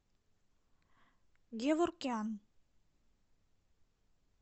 геворкян